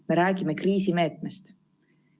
Me räägime kriisimeetmest.